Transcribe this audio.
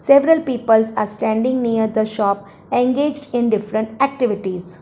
Several peoples are standing near the shop engaged in different activities.